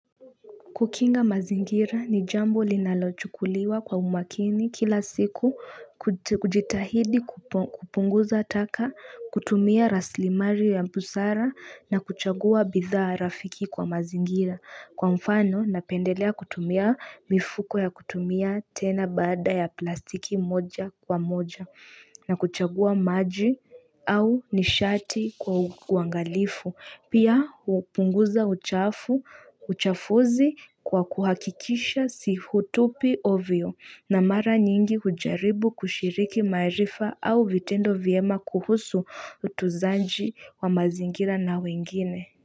Kukinga mazingira ni jambo linalochukuliwa kwa umakini kila siku kujitahidi kupunguza taka kutumia rasili mali ya busara na kuchagua bidhaa rafiki kwa mazingira, Kwa mfano napendelea kutumia mifuko ya kutumia tena bada ya plastiki moja kwa moja na kuchagua maji au nishati kwa uangalifu. Pia hupunguza uchafu, uchafuzi kwa kuhakikisha si hutupi ovyo, na mara nyingi hujaribu kushiriki marifa au vitendo vyema kuhusu utunzaji wa mazingira na wengine.